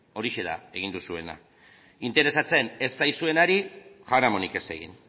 horixe da egin duzuena interesatzen ez zaizuenari jaramonik ez egin